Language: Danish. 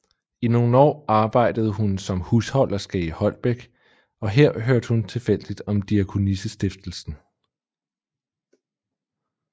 I nogle år arbejdede hun som husholderske i Holbæk og her hørte hun tilfældigt om Diakonissestiftelsen